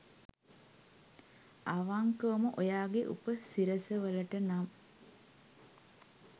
අවංකවම ඔයාගේ උප සිරස වලට නම්